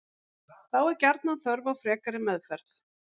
Þá er gjarnan þörf á frekari meðferð.